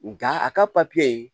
Nga a ka papiye